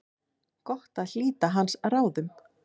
Gott að hlíta hans ráðum.